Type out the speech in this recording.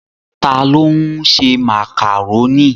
Ta ló ń ṣe màkàrónì?